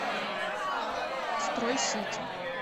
строй сити